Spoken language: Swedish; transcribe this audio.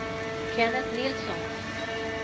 Kenneth Nilsson